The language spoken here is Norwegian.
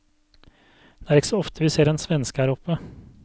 Det er ikke så ofte vi ser en svenske her oppe.